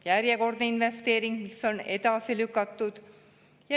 Järjekordsed investeeringud, mis on edasi lükatud.